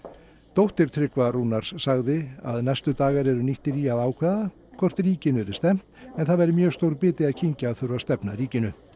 dóttir Tryggva Rúnars sagði að næstu dagar yrðu nýttir í að ákveða hvort ríkinu yrði stefnt en það væri mjög stór biti að kyngja að þurfa að stefna ríkinu